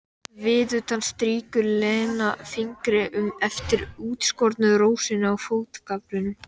Viðutan strýkur Lena fingri eftir útskornu rósinni á fótagaflinum.